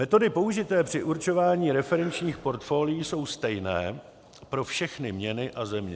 Metody použité při určování referenčních portfolií jsou stejně pro všechny měny a země.